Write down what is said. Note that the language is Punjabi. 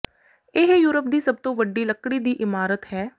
ਇਹ ਯੂਰਪ ਦੀ ਸਭ ਤੋਂ ਵੱਡੀ ਲੱਕੜੀ ਦੀ ਇਮਾਰਤ ਹੈ